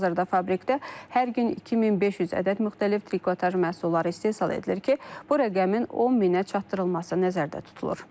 Hazırda fabrikdə hər gün 2500 ədəd müxtəlif trikotaj məhsulları istehsal edilir ki, bu rəqəmin 10000-ə çatdırılması nəzərdə tutulur.